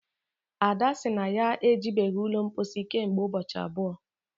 ada sị na ya ejibeghị ụlọ mposi kemgbe ụbọchị abụọ